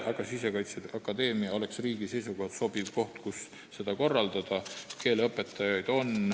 Aga Sisekaitseakadeemia oleks riigi seisukohalt sobiv koht, kus seda õpet korraldada.